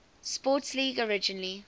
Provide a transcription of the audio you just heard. sports league originally